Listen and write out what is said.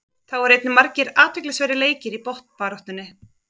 Þá voru einnig margir athyglisverðir leikir í botnbaráttunni.